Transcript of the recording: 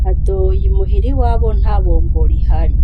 Kadoyi i muhira iwabo nta bombo rihari;